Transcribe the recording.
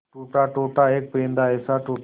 टूटा टूटा एक परिंदा ऐसे टूटा